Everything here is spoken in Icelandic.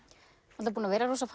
búin að vera rosa